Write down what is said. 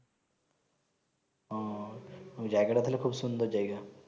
আহ জায়গা টা তাহলে খুব সুন্দর জায়াগা